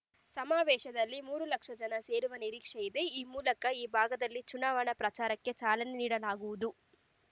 ಸಮಾವೇಶದಲ್ಲಿ ಮೂರು ಲಕ್ಷ ಜನ ಸೇರುವ ನಿರೀಕ್ಷೆ ಇದೆ ಈ ಮೂಲಕ ಈ ಭಾಗದಲ್ಲಿ ಚುನಾವಣಾ ಪ್ರಚಾರಕ್ಕೆ ಚಾಲನೆ ನೀಡಲಾಗುವುದು